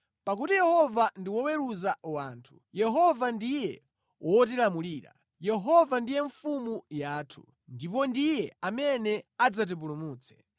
Pakuti Yehova ndi woweruza wathu, Yehova ndiye wotilamulira, Yehova ndiye mfumu yathu; ndipo ndiye amene adzatipulumutse.